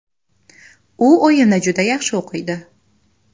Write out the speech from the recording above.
U o‘yinni juda yaxshi o‘qiydi.